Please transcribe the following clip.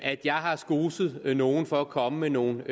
at jeg har skoset nogen for at komme med nogle